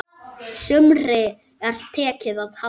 Sumri er tekið að halla.